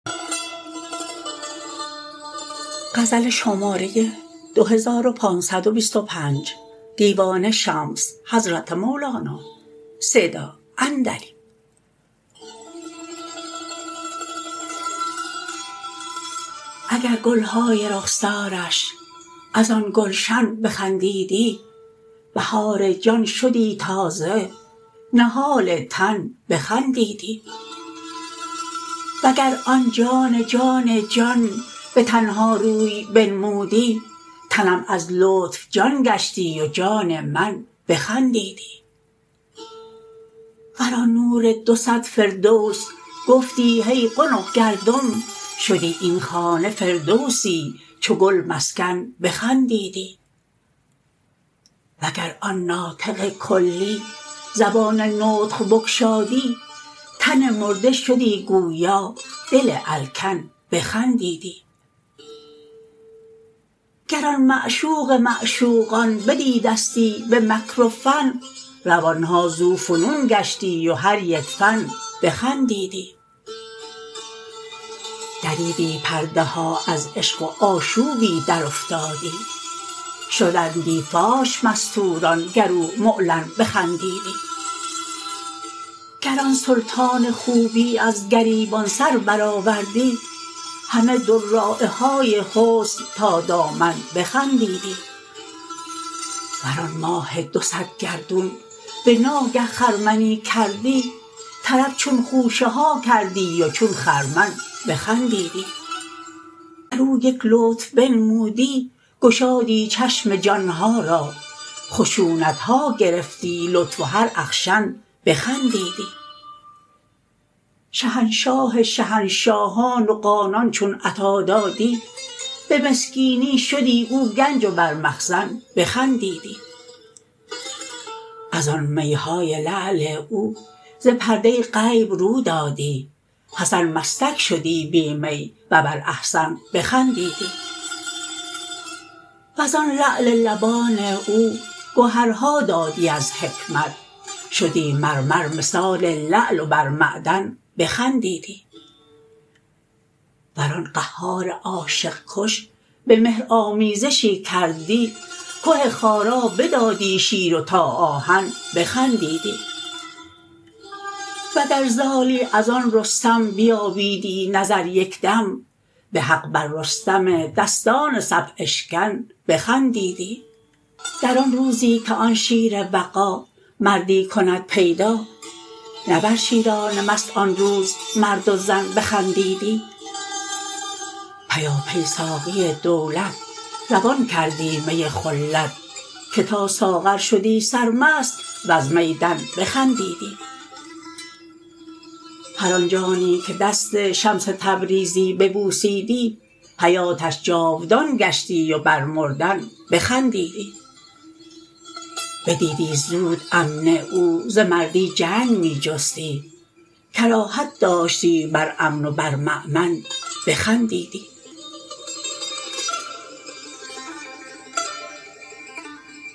اگر گل های رخسارش از آن گلشن بخندیدی بهار جان شدی تازه نهال تن بخندیدی وگر آن جان جان جان به تن ها روی بنمودی تنم از لطف جان گشتی و جان من بخندیدی ور آن نور دو صد فردوس گفتی هی قنق گلدم شدی این خانه فردوسی چو گل مسکن بخندیدی وگر آن ناطق کلی زبان نطق بگشادی تن مرده شدی گویا دل الکن بخندیدی گر آن معشوق معشوقان بدیدستی به مکر و فن روان ها ذوفنون گشتی و هر یک فن بخندیدی دریدی پرده ها از عشق و آشوبی درافتادی شدندی فاش مستوران گر او معلن بخندیدی گر آن سلطان خوبی از گریبان سر برآوردی همه دراعه های حسن تا دامن بخندیدی ور آن ماه دو صد گردون به ناگه خرمنی کردی طرب چون خوشه ها کردی و چون خرمن بخندیدی ور او یک لطف بنمودی گشادی چشم جان ها را خشونت ها گرفتی لطف و هر اخشن بخندیدی شهنشاه شهنشاهان و قانان چون عطا دادی به مسکینی شدی او گنج و بر مخزن بخندیدی از آن می های لعل او ز پرده غیب رو دادی حسن مستک شدی بی می و بر احسن بخندیدی ور آن لعل لبان او گهرها دادی از حکمت شدی مرمر مثال لعل و بر معدن بخندیدی ور آن قهار عاشق کش به مهر آمیزشی کردی که خارا بدادی شیر و تا آهن بخندیدی وگر زالی از آن رستم بیابیدی نظر یک دم به حق بر رستم دستان صف اشکن بخندیدی در آن روزی که آن شیر وغا مردی کند پیدا نه بر شیران مست آن روز مرد و زن بخندیدی پیاپی ساقی دولت روان کردی می خلت که تا ساغر شدی سرمست وز می دن بخندیدی هر آن جانی که دست شمس تبریزی ببوسیدی حیاتش جاودان گشتی و بر مردن بخندیدی بدیدی زود امن او ز مردی جنگ می جستی کراهت داشتی بر امن و بر مؤمن بخندیدی